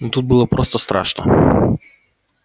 но тут было просто страшно